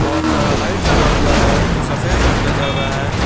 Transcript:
बहोत सारा लाइट लगा हुआ है जो सफेद रंग का जल रहा है।